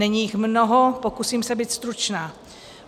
Není jich mnoho, pokusím se být stručná.